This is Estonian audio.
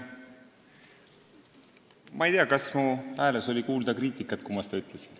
Ma ei tea, kas mu hääles oli kuulda kriitikat, kui ma seda ütlesin.